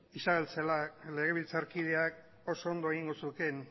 isabel celaá legebiltzarkideak oso ondo egingo zukeen